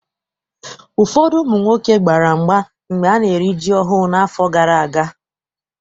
Ụfọdụ ụmụ nwoke gbara mgba mgbe ana-eri ji ọhụụ n'afọ gara aga.